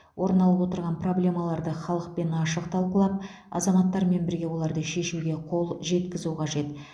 орын алып отырған проблемаларды халықпен ашық талқылап азаматтармен бірге оларды шешуге қол жеткізу қажет